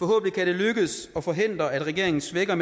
kan det lykkes at forhindre at regeringen svækker